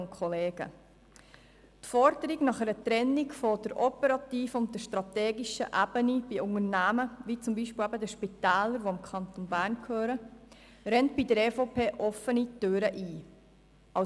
Die Forderung nach einer Trennung der operativen und der strategischen Ebene bei Unternehmen wie zum Beispiel Spitälern, die dem Kanton Bern gehören, rennt bei der EVP offene Türen ein.